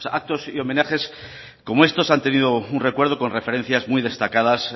actos y homenajes como estos han tenido un recuerdo con referencias muy destacadas